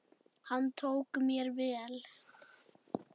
Hann tók mér vel.